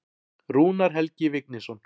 Rúnar Helgi Vignisson.